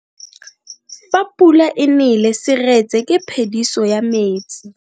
Fa pula e nele seretse ke phediso ya metsi.